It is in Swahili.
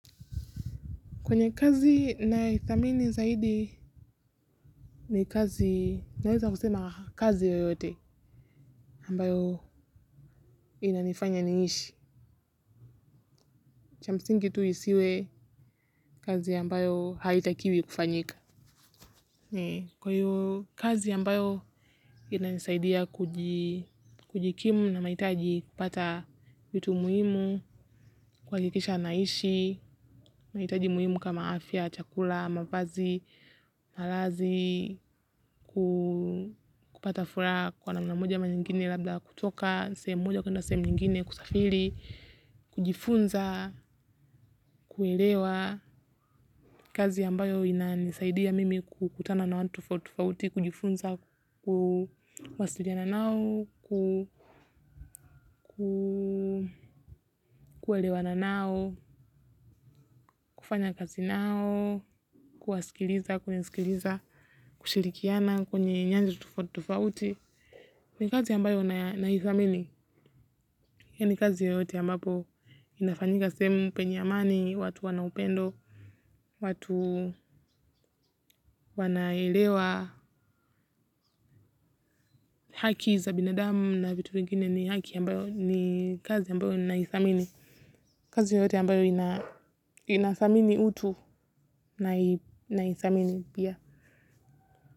Kwenye kazi nayoithamini zaidi ni kazi naweza kusema kazi yoyote ambayo inanifanya niishi. Cha msingi tu isiwe kazi ambayo haitakiwi kufanyika. Kwa hiyo kazi ambayo inanisaidia kujikimu na mahitaji, kupata vitu muhimu, kuhakikisha naishi, mahitaji muhimu kama afya, chakula, mavazi, malazi, kupata furaha kwa namna moja ama nyingine labda kutoka, sehemu moja kwenda sehemu nyingine kusafiri, kujifunza, kuelewa. Kazi ambayo inanisaidia mimi kukutana na watu tofauti tofauti, kujifunza kuwasiliana nao, kuelewana nao, kufanya kazi nao, kuwasikiliza, kunisikiliza, kushirikiana kwenye nyanja tofauti tofauti, ni kazi ambayo naithamini. Hii ni kazi yoyote ambapo inafanyika sehemu penye amani, watu wana upendo, watu wanaelewa haki za binadamu na vitu vingine ni haki ambayo ni kazi ambayo naithamini. Kazi yoyote ambayo inathamini utu, naithamini pia.